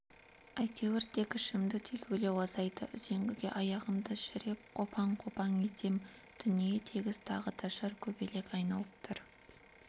әйтеуір тек ішімді түйгілеу азайды үзеңгіге аяғымды шіреп қопаң-қопаң етем дүние тегіс тағы да шыр көбелек айналып тұр